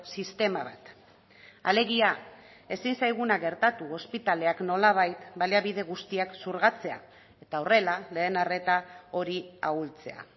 sistema bat alegia ezin zaiguna gertatu ospitaleak nolabait baliabide guztiak xurgatzea eta horrela lehen arreta hori ahultzea